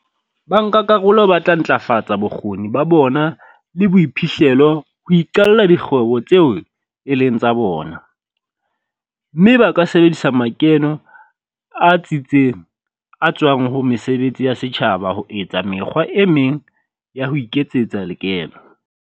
Bankakarolo ba tla ntlafatsa bokgoni ba bona le boiphihlelo ho iqalla dikgwebo tseo e leng tsa bona, mme ba ka sebedisa makeno a tsitseng a tswang ho mesebetsi ya setjhaba ho etsa mekgwa e meng ya ho iketsetsa lekeno.